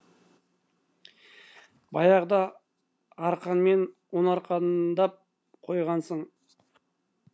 баяғыда арқанмен ұн арқандап қойғансың